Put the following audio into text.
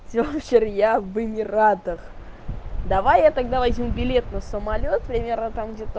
я в эмиратах давай я тогда возьму билет на самолёт примерно так